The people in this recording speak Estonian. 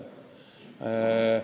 See on mütoloogia.